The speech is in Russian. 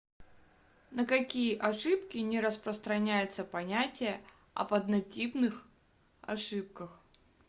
на какие ошибки не распространяется понятие об однотипных ошибках